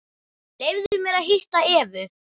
Leyfðu mér að hitta Evu.